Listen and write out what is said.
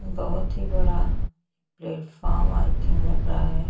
बहोत ही बड़ा प्लेटफार्म आई थिंक लग रहा है।